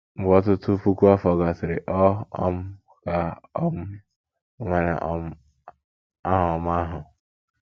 Mgbe ọtụtụ puku afọ gasịrị, ọ um ka um nwere um aha ọma ahụ.